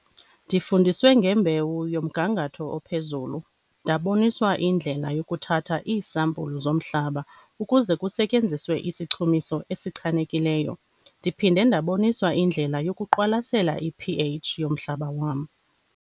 Ndifundiswe ngembewu yomgangatho ophezulu, ndaboniswa indlela yokuthatha iisampulu zomhlaba ukuze kusetyenziswe isichumiso esichanekileyo, ndiphinde ndaboniswa indlela yokuqwalasela ipH yomhlaba wam.